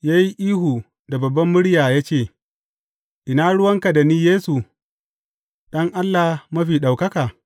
Ya yi ihu da babbar murya ya ce, Ina ruwanka da ni Yesu, Ɗan Allah Mafi Ɗaukaka?